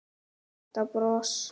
Þetta bros!